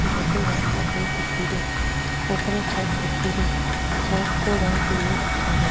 जेको रंग सफ़ेद दिखे रो ऊपर छत दिखे री छत को रंग पिलो दिख रो।